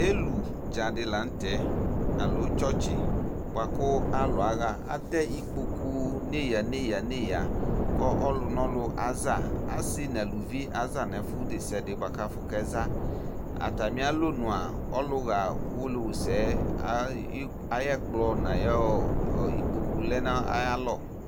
Ɛlʋdza di la nʋ tɛ, aloo tsɔtsi boa kʋ alʋ aɣa Atɛ ikpoku neyaneyaneya kʋ ɔlʋnɔlʋ aza Asi nʋ alʋvi aza nʋ ɛfʋ desiade boa kʋ afʋ kɛza Atami alɔnʋ a, ɔlʋɣa Uwolowusɛ ayɛkplɔ nʋ ayikpoku lɛ nʋ ayalɔ